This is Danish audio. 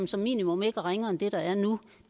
som minimum ikke er ringere end det der er nu